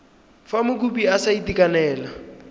fa mokopi a sa itekanela